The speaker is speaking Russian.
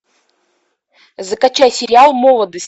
закачай сериал молодость